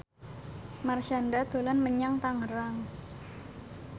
Marshanda dolan menyang Tangerang